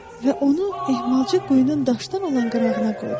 Və onu ehmalcə quyunun daşdan olan qırağına qoydum.